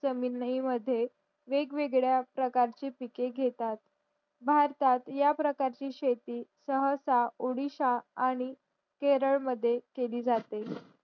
जमीनि मद्ये वेगवेगळ्या प्रकारची पिके घेतात भारतात या प्रकारची शेती सहसा ओडिशा आणि केरळ मद्ये केली जाते